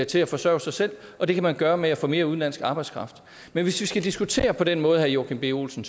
til at forsørge sig selv og det kan man gøre med at få mere udenlandsk arbejdskraft men hvis vi skal diskutere på den måde herre joachim b olsen